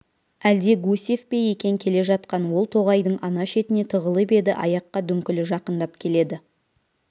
әлде гусев пе екен келе жатқан ол тоғайдың ана шетіне тығылып еді аяққа дүңкілі жақындап келеді